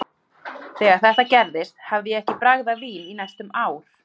Þegar þetta gerðist hafði ég ekki bragðað vín í næstum ár.